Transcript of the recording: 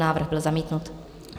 Návrh byl zamítnut.